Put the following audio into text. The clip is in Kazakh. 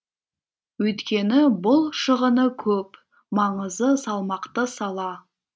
өйткені бұл шығыны көп маңызы салмақты сала